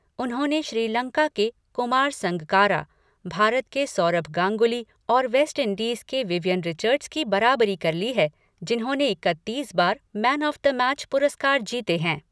उन्होंने श्रीलंका के कुमार संगकारा, भारत के सौरभ गांगुली और वेस्ट इंडीज के विवियन रिचर्ड्स की बराबरी कर ली है, जिन्होंने इकत्तीस बार मैन ऑफ द मैच पुरस्कार जीते हैं।